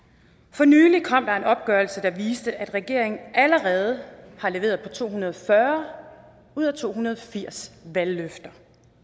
for nylig kom der en opgørelse der viste at regeringen allerede har leveret på to hundrede og fyrre ud af to hundrede og firs valgløfter